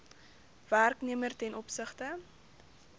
werknemer ten opsigte